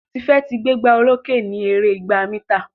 Tife tí gbégbá olokè ní èrè ìgbà mítà.